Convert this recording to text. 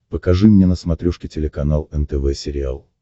покажи мне на смотрешке телеканал нтв сериал